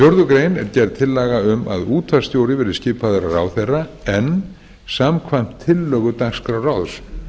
er gerð tillaga um að útvarpsstjóri verði skipaður af ráðherra en samkvæmt tillögu dagskrárráðs